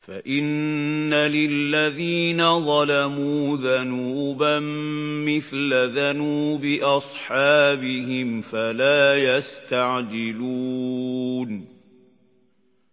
فَإِنَّ لِلَّذِينَ ظَلَمُوا ذَنُوبًا مِّثْلَ ذَنُوبِ أَصْحَابِهِمْ فَلَا يَسْتَعْجِلُونِ